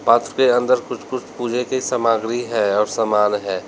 Box के अंदर कुछ कुछ पूजा के सामग्री है और सामान है।